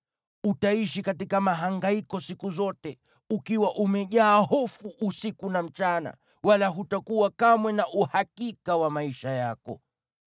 Utaishi katika mahangaiko siku zote, ukiwa umejaa hofu usiku na mchana, wala hutakuwa kamwe na uhakika wa maisha yako.